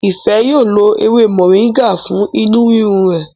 Ife yíò ló ewé Moringa fún inú rirun rè.